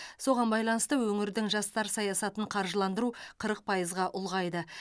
соған байланысты өңірдің жастар саясатын қаржыландыру қырық пайызға ұлғайды